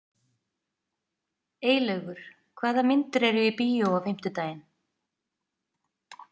Eylaugur, hvaða myndir eru í bíó á fimmtudaginn?